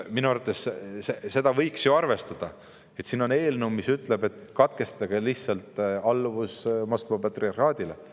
Minu arvates seda võiks ju arvestada, et siin on eelnõu, mis ütleb lihtsalt, et tuleb katkestada Moskva patriarhaadi alluvus.